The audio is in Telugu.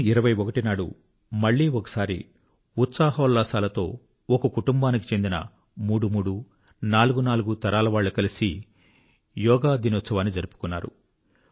21 జూన్ నాడు మళ్ళీ ఒకసారి ఉత్సాహోల్లాసాలతో ఒక కుటుంబానికి చెందిన మూడుమూడు నాలుగునాలుగు తరాలవాళ్ళు కలిసి యోగాడే ను జరుపుకున్నారు